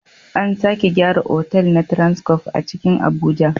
An sake gyara otal na transcof a cikin Abuja